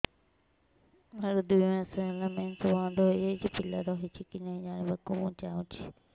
ମୋର ଦୁଇ ମାସ ହେଲା ମେନ୍ସ ବନ୍ଦ ହେଇ ଯାଇଛି ପିଲା ରହିଛି କି ନାହିଁ ଜାଣିବା କୁ ଚାହୁଁଛି